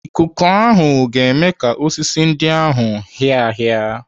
Ikuku ahụ ga-eme ka osisi ndị ahụ hịa hịa.